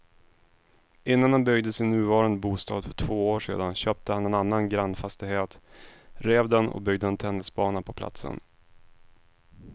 Innan han byggde sin nuvarande bostad för två år sedan köpte han en annan grannfastighet, rev den och byggde en tennisbana på platsen.